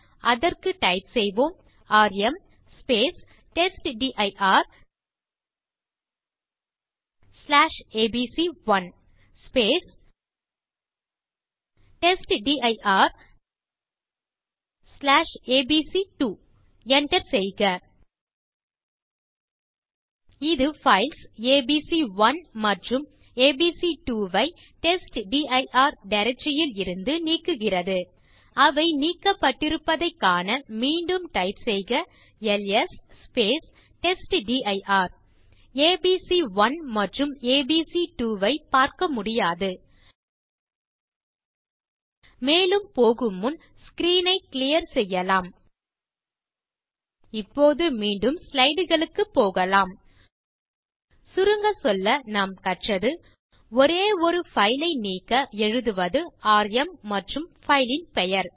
அதற்கு டைப் செய்வோம் ராம் testdirஏபிசி1 testdirஏபிசி2 enter செய்க இது பைல்ஸ் ஏபிசி1 மற்றும் ஏபிசி2 ஐ டெஸ்ட்டிர் டைரக்டரி யில் இருந்து நீக்குகிறது அவை நீக்கப்பட்டிருப்பதைக் காண மீண்டும் டைப் செய்க எல்எஸ் டெஸ்ட்டிர் ஏபிசி1 மற்றும் ஏபிசி2 ஐ பார்க்க முடியாது மேலும் போகு முன் ஸ்க்ரீன் ஐ கிளியர் செய்யலாம் இப்போது மீண்டும் ஸ்லைடு களுக்குப் போகலாம் சுருங்க சொல்ல நாம் கற்றது ஒரே ஒரு பைல் ஐ நீக்க எழுதுவது ராம் மற்றும் பைல் ன் பெயர்